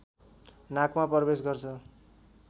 नाकमा प्रवेश गर्छ